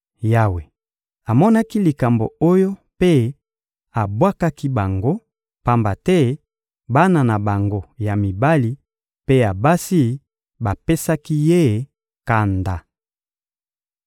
Yawe amonaki likambo oyo mpe abwakaki bango, pamba te bana na bango ya mibali mpe ya basi bapesaki Ye kanda.